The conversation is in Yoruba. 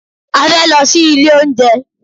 A fẹ́ lọ sí ilé oúnjẹ.